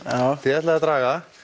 þið ætlið að draga